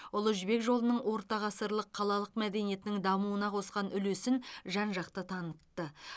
ұлы жібек жолының ортағасырлық қалалық мәдениетінің дамуына қосқан үлесін жан жақты танытты